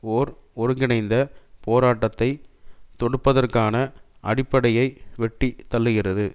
ஓர் ஒருங்கிணைந்த போராட்டத்தை தொடுப்பதற்கான அடிப்படையை வெட்டி தள்ளுகிறது